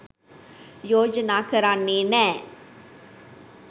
යෝජනා කරන්නෙ නෑ.